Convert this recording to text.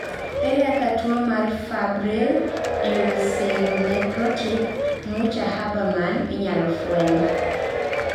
ere kaka tuwo mar febrile ulceronecrotic Mucha Habermann inyalo fweny?